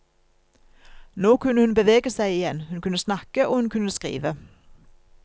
Nå kunne hun bevege seg igjen, hun kunne snakke og hun kunne skrive.